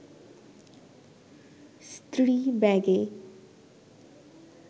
স্ত্রী ব্যাগে